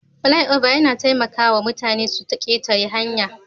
Flyover yana taimaka wa mutane su ketare hanya